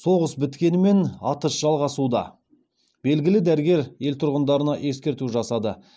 соғыс біткенімен атыс жалғасуда белгілі дәрігер ел тұрғындарына ескерту жасады